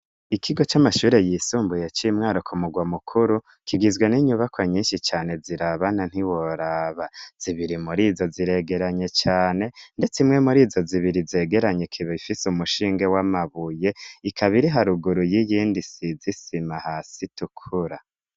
Ikigo c'amashure yisumbuye cimwara ku murwa mukuru kigizwe n'inyubako nyinshi cane zirabana ntiworaba zibiri muri zo ziregeranye cane, ndetse imwe muri zo zibiri zegeranye kiba bifise umushinge w'amabuye ikabiri haruguru y'iyindi sizisima hasi tukura.